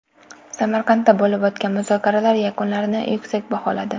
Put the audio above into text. Samarqandda bo‘lib o‘tgan muzokaralar yakunlarini yuksak baholadi.